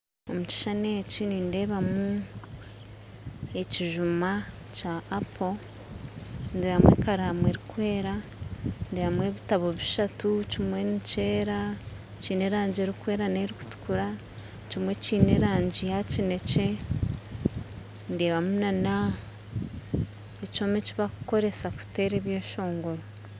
Omukishushani eki nindeebamu ekijuma Kya Apo ndeebamu ekaramu erikwera ndeebamu ebitabo bishatu kimwe nikyeera kiine erangi erikwera nerikutukura kimwe kiine erangi ya kinekye ndeebamu nana ekyoma ekibarikukoresa kuteera ebyeshongoro